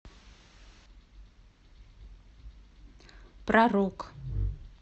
про рок